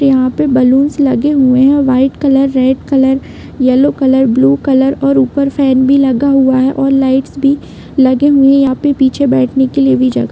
यहाँ पे बैलून्स लगे हुए है और white colour red colour yellow colour blue colour और ऊपर फैन भी लगा हुआ है और लाइट्स भी लगे हुए है यहाँ पे पीछे बैठने के लिए भी जगेह--